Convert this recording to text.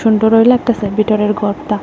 সুন্দর হইল একটা ঘরতা ।